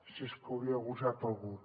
si és que hauria gosat algú